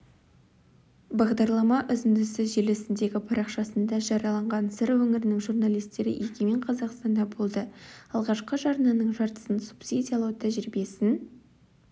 бағдарлама үзіндісі желісіндегі парақшасында жарияланған сыр өңірінің журналистері егемен қазақстанда болды алғашқы жарнаның жартысын субсидиялау тәжірибесін